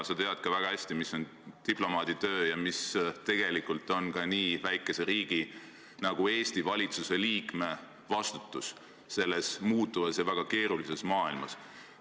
Sa tead väga hästi ka seda, mis on diplomaaditöö ja missugune on Eesti-suguse väikeriigi valitsuse liikme vastutus selles muutuvas ja väga keerulises maailmas.